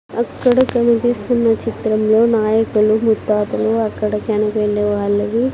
అక్కడ కనిపిస్తున్న చిత్రంలో నాయకులు ముత్తాతలు అక్కడ చనిపోయిండే వాళ్ళవి --